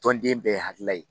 Tɔnden bɛɛ hakilila ye